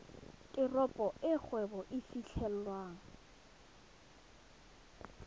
teropo e kgwebo e fitlhelwang